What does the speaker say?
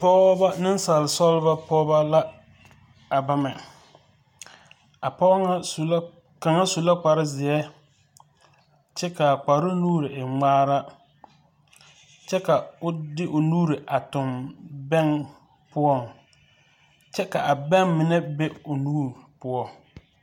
Pɔɔbɔ nensaalesɔlebɔ pɔɔbɔ la a bama a pɔɔ ŋa kaŋ su la kparzeɛ kyɛ ka a kparoo nuuri e ŋmaara kyɛ ka o de o nuuri tuɡi bɛŋ poɔŋ kyɛ ka a bɛŋ mine be o nuuri poɔ.